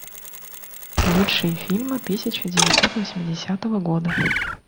лучшие фильмы тысяча девятьсот восьмидесятого года